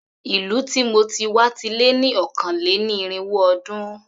Ìlú tí mo ti wá ti lé ní ọ̀kàn-lé-ní-irínwó ọdún.